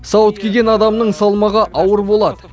сауыт киген адамның салмағы ауыр болады